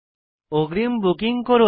অগ্রিম বুকিং করুন